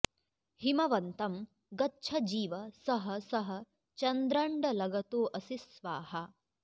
हिमवन्तं गच्छ जीव सः सः चन्द्रण्डलगतो असि स्वाहा